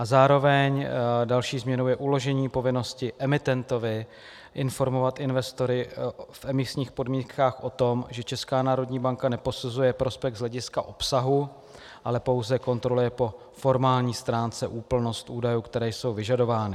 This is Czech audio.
A zároveň další změnou je uložení povinnosti emitentovi informovat investory v emisních podmínkách o tom, že Česká národní banka neposuzuje prospekt z hlediska obsahu, ale pouze kontroluje po formální stránce úplnost údajů, které jsou vyžadovány.